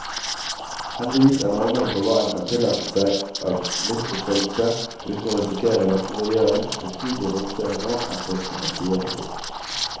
Heldigvis er normene for hva en kan tillate seg av livsutfoldelse uten å risikere latterliggjøring, betydelig romsligere nå enn for noen tiår siden.